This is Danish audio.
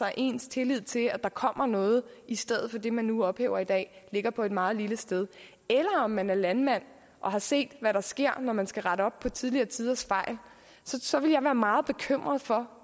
ens tillid til at der kommer noget i stedet for det man nu ophæver i dag ligger på en meget lille sted eller om man er landmand og har set hvad der sker når man skal rette op på tidligere tiders fejl så ville jeg være meget bekymret for